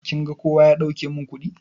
Kin ga kowa ya dauke min kuɗi?